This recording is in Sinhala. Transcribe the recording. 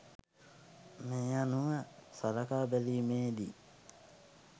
මේ අනුව සලකා බැලීමේ දී